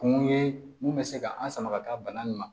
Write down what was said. Kun ye mun bɛ se ka an sama ka taa bana nin ma